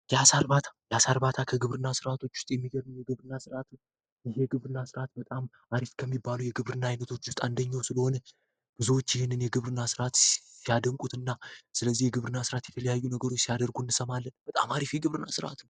የአሳ እርባታ ከግብርና ሥርዓቶች ውስጥ የሚገርም የግብርና ስርት ይግብርና ስርዓት በጣም አሪፍ ከሚባለ የግብርና አይነቶች ውስጥ አንደኛው ስለሆነ ብዙዎች ይህን የግብርና ስርዓት ሲያደንቁት እና ስለዚህ የግብርና ሥርዓት የተለያዩ ነገሩች ሲያደርጉ እንሰማለን በጣም አሪፍ የግብርና ስርዓት ነው።